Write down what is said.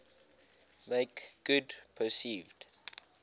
make good perceived